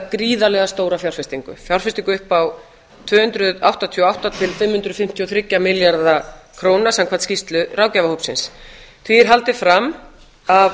gríðarlega stóra fjárfestingu fjárfestingu upp á tvö hundruð áttatíu og átta til fimm hundruð fimmtíu og þrjá milljarða króna samkvæmt skýrslu ráðgjafarhópsins því er haldið fram af